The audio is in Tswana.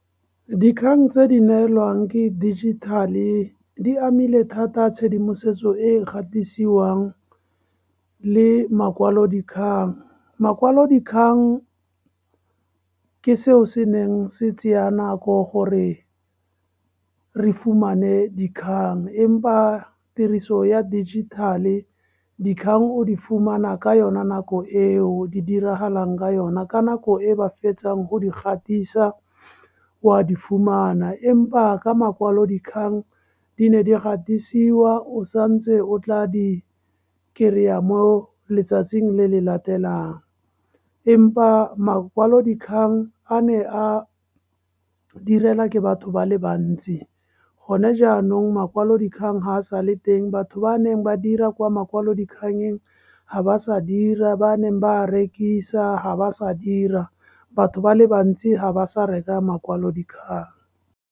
Dikgang tse di neelwang ke dijithale di amile thata tshedimosetso e gatisiwang le makwalodikgang. Makwalodikgang, ke seo se neng se tseya nako gore re fumane dikgang empa tiriso ya digital-e, dikgang o di fumana ka yona nako eo di diragalang ka yona, ka nako e ba fetsang go di gatisa o wa di fumana. Empa ka makwalodikgang, di ne di gatisiwa o santse o tla di-kry-a mo letsatsing le le latelang. Empa makwalodikgang, a ne a direla ke batho ba le bantsi, gone jaanong makwalodikgang ga a sa le teng, batho ba neng ba dira kwa makwalodikgang teng, ga ba sa dira, ba neng ba rekisa ga ba sa dira. Batho ba le bantsi ga ba sa reka makwalodikgang.